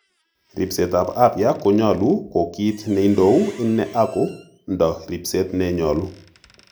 Ripset ap afya kkonyolu ko kit neindou ine agondo ripset ne nyolu.